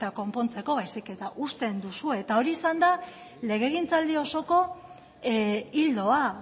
konpontzeko baizik eta uzten duzue hori izan da legegintzaldi osoko ildoa